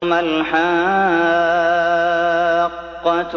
مَا الْحَاقَّةُ